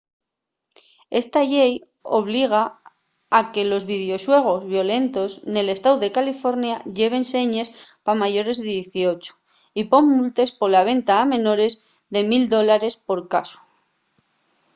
esta llei obliga a que los videoxuegos violentos nel estáu de california lleven señes pa mayores de 18 y pon multes pola venta a menores de 1 000$ por casu